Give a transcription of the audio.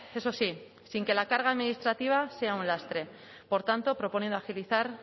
eso sí sin que la carga administrativa sea un lastre por tanto proponiendo agilizar